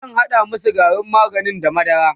zan hada masu garin maganin da madara